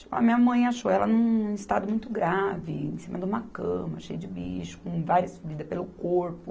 A minha mãe achou ela num estado muito grave, em cima de uma cama, cheia de bicho, com várias feridas pelo corpo.